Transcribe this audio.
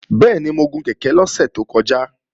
Bẹ́ẹ̀ni, mo gun kèké lọ́sẹ̀ tó kọjá